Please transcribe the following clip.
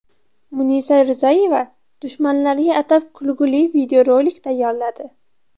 Munisa Rizayeva dushmanlariga atab kulgili videorolik tayyorladi.